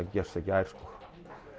gerst í gær sko